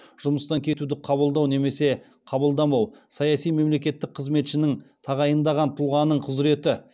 жұмыстан кетуді қабылдау немесе қабылдамау саяси мемлекеттік қызметшіні тағайындаған тұлғаның құзіреті